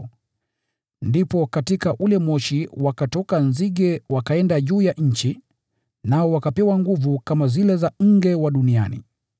Ndipo katika ule moshi wakatoka nzige wakaenda juu ya nchi, nao wakapewa nguvu kama zile za nge wa duniani.